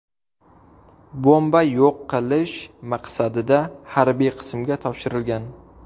Bomba yo‘q qilish maqsadida harbiy qismga topshirilgan.